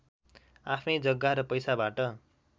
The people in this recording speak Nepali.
आफ्नै जग्गा र पैसाबाट